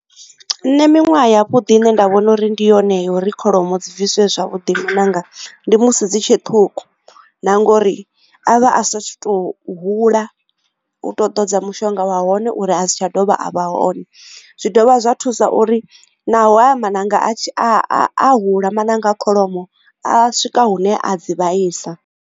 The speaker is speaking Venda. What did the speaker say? Nṋe miṅwaha ya vhuḓi ine nda vhona uri ndi yone yo uri kholomo dzi bviswe zwavhuḓi maṋanga ndi musi dzi tshe ṱhukhu na ngori avha a si to hula uto ḓodza mushonga wa hone uri a si tsha dovha a vha hone zwi dovha zwa thusa uri naho ya maṋanga a hula mananga a kholomo a swika hune a dzi vhaisa.